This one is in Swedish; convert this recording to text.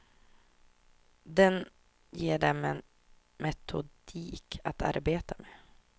Den ger dem en metodik att arbeta med.